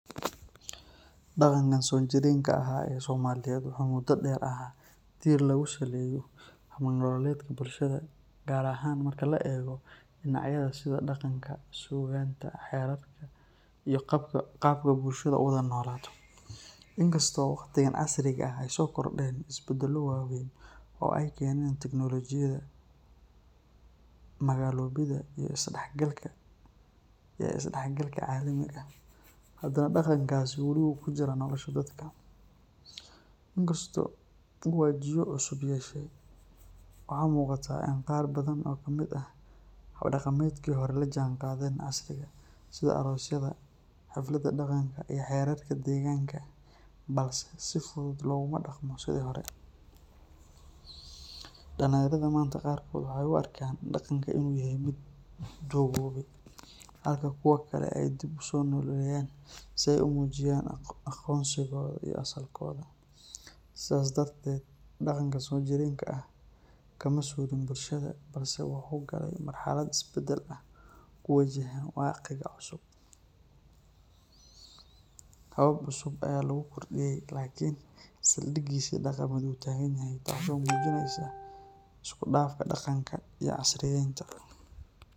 Daqanka soo jireenka ee somaliyeed waa tiir lagu sameeyo bulshada, in kasto hada casriga aay soo kordeen is badalo waweyn, in kasto uu wajiyo cusub yeeshe hada si fudud looguma daqmo, dalinyarada waxeey u arkaan mid duqoobe, habab cusub ayaa lagu kordiye lakin sal digiisi daqanka ayuu tagan yahay.